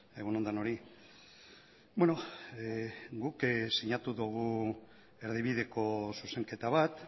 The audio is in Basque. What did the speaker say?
egun on denoi guk sinatu dugu erdibideko zuzenketa bat